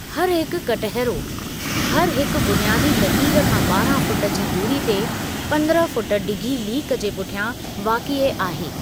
हर हिकु कटहरो हर हिकु बुनियादी लकीर खां ॿारहां फुट जी दूरी ते, पंद्रहं फुट डिघी लीक जे पुठियां वाक़िए आहे।